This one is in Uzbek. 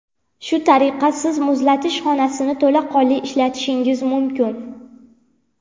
Shu tariqa, Siz muzlatish xonasini to‘laqonli ishlatishingiz mumkin.